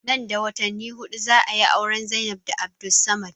Nan da watanni huɗu za ayi auren Zainab da Abdulsamad